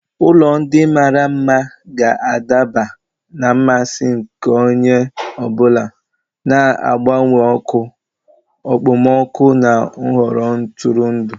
Ụlọ ndị mara mma ga-adaba na mmasị nke onye ọ bụla, na-agbanwe ọkụ, okpomọkụ na nhọrọ ntụrụndụ.